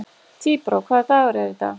Tíbrá, hvaða dagur er í dag?